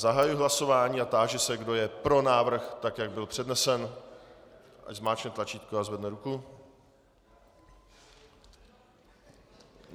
Zahajuji hlasování a táži se, kdo je pro návrh, tak jak byl přednesen, ať zmáčkne tlačítko a zvedne ruku.